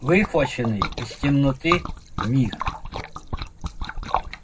выхваченный из темноты миг